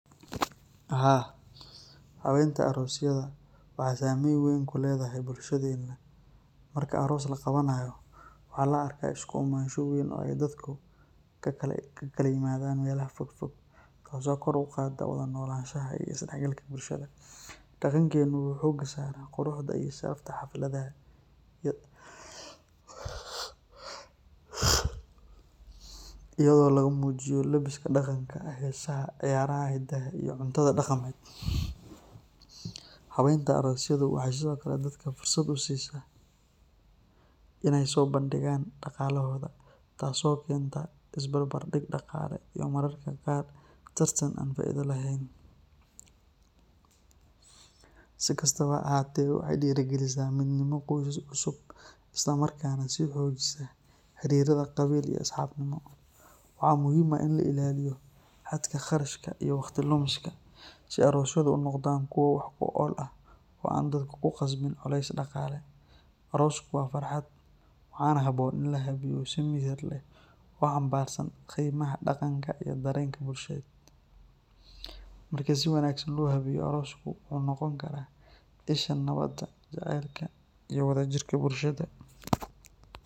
Haa habeenta aroosyada waxeey sameyn weyn kuledahay bulshada, dareenka wuxuu bisaara quruxda aroosyada, habeenta aroosyada waxeey dadka fursad usiisa daqaalahooda iyo mararka qaar tartan, waxaa muhiim ah in la ilaaliyo daqalaha, arooska waa farxad, marka si wanagsan loo habeeyo arooska wuxuu noqon karaa isha nabada iyo wada jirka bulshada.